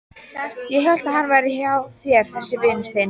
Ég hélt að hann væri hjá þér þessi vinur þinn.